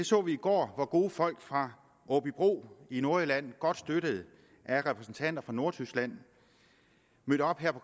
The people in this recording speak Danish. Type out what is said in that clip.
så vi i går hvor gode folk fra aabybro i nordjylland godt støttet af repræsentanter fra nordtyskland mødte op her på